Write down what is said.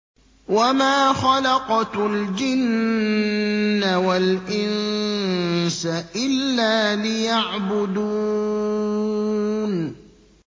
وَمَا خَلَقْتُ الْجِنَّ وَالْإِنسَ إِلَّا لِيَعْبُدُونِ